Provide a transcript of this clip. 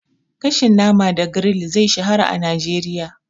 Gashin nama da grill zai shahara a Najeriya.